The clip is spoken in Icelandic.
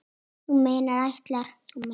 Þú meinar ætlar.